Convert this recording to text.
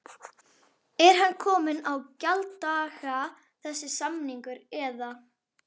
Er hann kominn á gjalddaga þessi samningur eða?